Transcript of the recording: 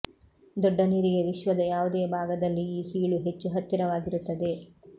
ದೊಡ್ಡ ನೀರಿಗೆ ವಿಶ್ವದ ಯಾವುದೇ ಭಾಗದಲ್ಲಿ ಈ ಸೀಳು ಹೆಚ್ಚು ಹತ್ತಿರವಾಗಿರುತ್ತದೆ